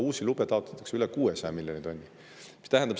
Uusi lube taotletakse üle 600 miljoni tonni.